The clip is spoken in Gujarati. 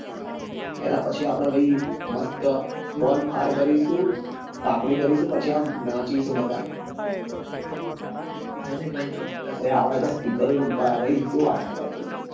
ત્યાર પછી આપડે ભાઈ મસ્ત bonfire કરીશુ તાપણીકરીશું પછી આમ નાચીસું બધા હા ને ભાઈ ચોક્કસ અરે આપડે ત્યાં speaker એ ઉભા છે ભાઈ શું વાત કરો તમે